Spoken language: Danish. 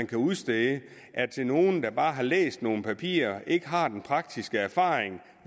kan udstedes er til nogle der bare har læst nogle papirer og ikke har den praktiske erfaring